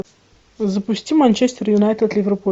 запусти манчестер юнайтед ливерпуль